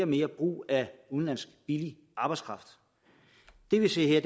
mere brug af udenlandsk billig arbejdskraft det vi ser her